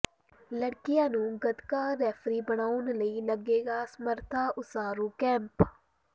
ਲੜਕੀਆਂ ਨੂੰ ਗੱਤਕਾ ਰੈਫ਼ਰੀ ਬਣਾਉਣ ਲਈ ਲੱਗੇਗਾ ਸਮਰੱਥਾ ਉਸਾਰੂ ਕੈਂਪ